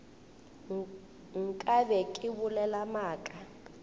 nka be ke bolela maaka